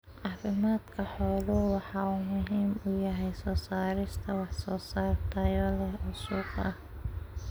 Caafimaadka xooluhu waxa uu muhiim u yahay soo saarista wax soo saar tayo leh oo suuqa ah.